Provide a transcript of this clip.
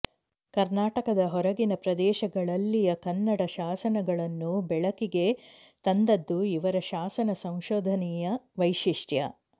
ಕರ್ನಾಟಕದ ಹೊರಗಿನ ಪ್ರದೇಶಗಳಲ್ಲಿಯ ಕನ್ನಡ ಶಾಸನಗಳನ್ನು ಬೆಳಕಿಗೆ ತಂದದ್ದು ಇವರ ಶಾಸನ ಸಂಶೋಧನೆಯ ವೈಶಿಷ್ಟ್ಯ